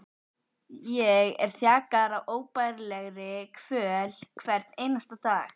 Ég er þjakaður af óbærilegri kvöl hvern einasta dag.